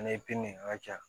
Fɛnɛ ye ŋa ja